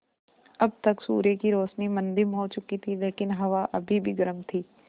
अब तक सूर्य की रोशनी मद्धिम हो चुकी थी लेकिन हवा अभी भी गर्म थी